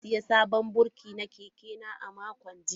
Baba ya sayi sabon birki na keke na a makon jiya.